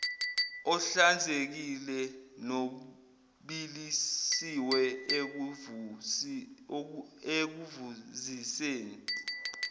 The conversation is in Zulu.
ohlanzekile nobilisiwe ekuvuziseni